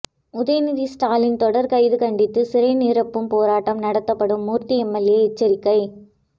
உதயநிதி ஸ்டாலின் தொடர் கைது கண்டித்து சிறை நிரப்பும் போராட்டம் நடத்தப்படும் மூர்த்தி எம்எல்ஏ எச்சரிக்கை